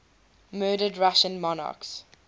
murdered russian monarchs